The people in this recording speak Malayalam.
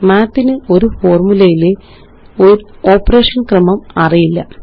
മാത്ത് ന് ഒരു ഫോര്മുലയിലെ ഓപ്പറേഷന് ക്രമം അറിയില്ല